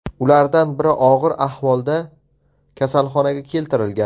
Ulardan biri og‘ir ahvolda kasalxonaga keltirilgan.